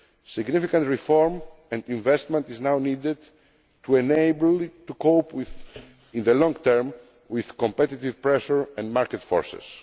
economy. Significant reform and investment is now needed to enable it to cope in the long term with competitive pressure and market